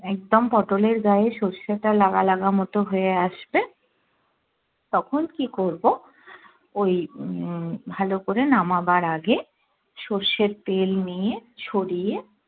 একদম পটোল এর গায়ে সর্ষেটা লাগা লাগা মতো হয়ে আসবে তখন কি করব ওই উম ভালো করে নামাবার আগে সর্ষের তেল নিয়ে ছড়িয়ে